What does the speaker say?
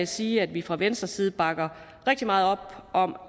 sige at vi fra venstres side bakker rigtig meget op om